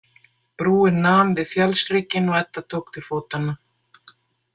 Brúin nam við fjallshrygginn og Edda tók til fótanna.